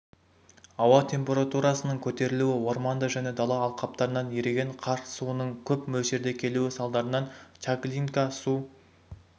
ауа температурасының көтерілу орманды және дала алқаптарынан еріген қар суының көп мөлшерде келуі салдарынан чаглинка су